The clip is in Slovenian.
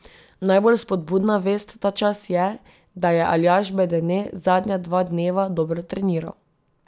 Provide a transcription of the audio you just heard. Najbolj spodbudna vest ta čas je, da je Aljaž Bedene zadnja dva dneva dobro treniral.